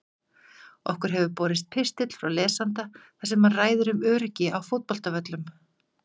Okkur hefur borist pistill frá lesanda þar sem hann ræðir um öryggi á fótboltavöllum.